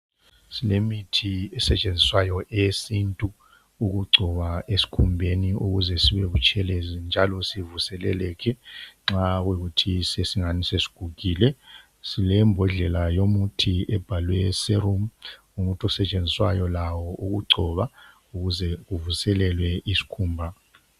Silemithi esetshenziswayo eyesintu ukugcoba esikhumbeni ukuze sibe butshelezi njalo sivuseleleke nxa kuyikuthi sesingani sesigugile. Silembodlela yomuthi ebhalwe Serum, umuthi osetshenziswayo lawo ukugcoba ukuze kuvuselelwe isikhumba.